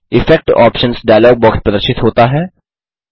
effects options dialog box प्रदर्शित होता है